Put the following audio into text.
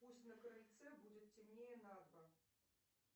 пусть на крыльце будет темнее на два